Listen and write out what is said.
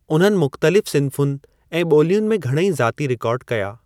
उन्हनि मुख़्तलिफ़ सिन्फ़ुनि ऐं बो॒लियुनि में घणेई ज़ाती रिकॉर्ड कया।